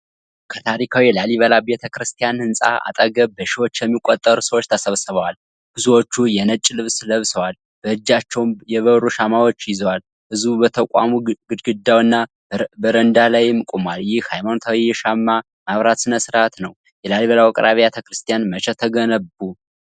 ከታሪካዊ የላሊበላ ቤተ ክርስቲያን ህንጻ አጠገብ በሺዎች የሚቆጠሩ ሰዎች ተሰብስበዋል። ብዙዎቹ የነጭ ልብስ ለብሰዋል፤ በእጃቸውም የበሩ ሻማዎች ይዘዋል። ህዝቡ በተቋሙ ግድግዳና በረንዳ ላይም ቆሟል። ይህ ሃይማኖታዊ የሻማ ማብራት ሥነ-ሥርዓት ነው። የላሊበላ ውቅር አብያተ ክርስቲያናት መቼ ተገነቡ?